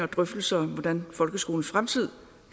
drøftelser om hvordan folkeskolens fremtid